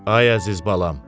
Ay əziz balam.